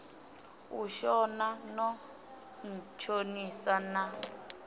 u shona no ntshonisa na